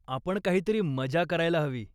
आपण काहीतरी मजा करायला हवी.